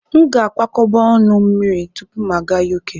M ga-akwakọba ọnụ mmiri tupu m aga Uk.